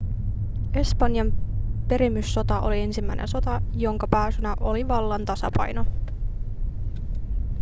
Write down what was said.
espanjan perimyssota oli ensimmäinen sota jonka pääsyynä oli vallan tasapaino